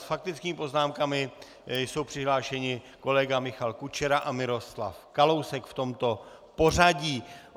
S faktickými poznámkami jsou přihlášeni kolega Michal Kučera a Miroslav Kalousek v tomto pořadí.